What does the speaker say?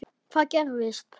Hvað gerðist?